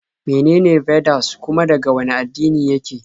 Menene Vedas kuma daga wane addini yake?